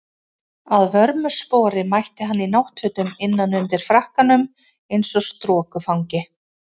Að vörmu spori mætti hann í náttfötum innan undir frakkanum eins og strokufangi.